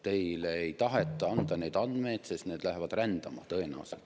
Teile ei taheta anda neid andmeid, sest need lähevad tõenäoliselt rändama.